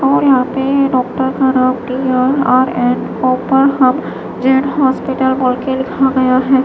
और यह पे डॉक्टर का जैन हॉस्पिटल बोल के लिखा गया है।